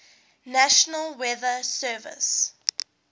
national weather service